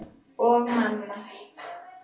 Og mamma.